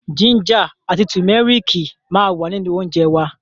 Jínjà àti tùmẹ́rìkì ma wà nínú óńjẹ wa.